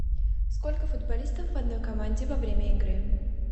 сколько футболистов в одной команде во время игры